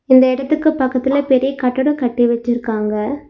இந்த எடத்துக்கு பக்கத்துல பெரிய கட்டடம் கட்டி வச்சிருக்காங்க.